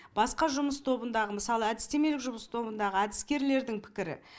басқа жұмыс тобындағы мысалы әдістемелік жұмыс тобындағы әдіскерлердің пікірі